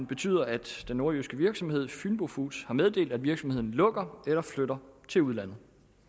betyder at den nordjyske virksomhed fynbo foods har meddelt at virksomheden lukker eller flytter til udlandet